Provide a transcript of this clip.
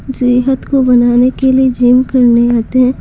सेहत को बनाने के लिए जिम करने आते हैं।